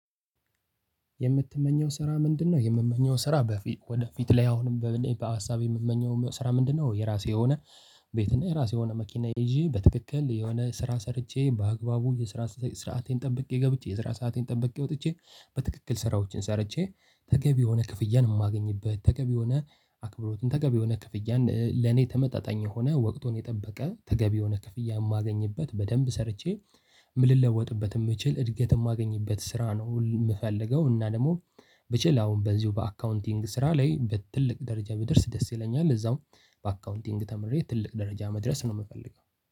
የምትመኘው ስራ ምንድነው? የምመኘው ስራ በፊት ወደፊት ላይ አሁንም በምኔ በሀሳቤ የምመኘው ስራ ምንድነው? የራሴ የሆነ ቤትና የራሴ የሆነ መኪና ይዤ በትክክል የሆነ ስራ ሰርቼ በአግባቡ የስራ ስርዓቴን ጠብቄ ገብቼ የስራ ሰአቴን ጠብቄ ወጥቼ በትክክል ስራዎችን ሰርቼ ተገቢ የሆነ ክፍያን የማገኝበት ተገቢ ሆነ አክብሮትን ተገቢ ሆነ ክፍያን ለኔ ተመጣጣኝ የሆነ ወቅቱን የጠበቀ ተገቢ ሆነ ክፍያ የማገኝበት በደንብ ሰርቼ። ምን ልለወጥበት የምችል እድገት የማገኝበት ስራ ነው የምፈልገው። እና ደግሞ ብችል አሁን በዚሁ በአካውንቲንግ ስራ ላይ በትልቅ ደረጃ ብድርስ ደስ ይለኛል። እዛው በአካውንቲንግ ተምሬ ትልቅ ደረጃ መድረስ ነው የምፈልገው